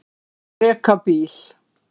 Að reka bíl